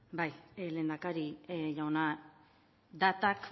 bai lehendakari jauna datak